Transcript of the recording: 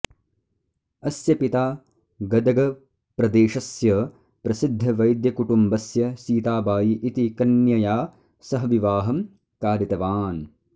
अस्य पिता गदगप्रदेशस्य प्रसिद्धवैद्यकुटुम्बस्य सीताबायी इति कन्यया सह विवाहं कारितवान्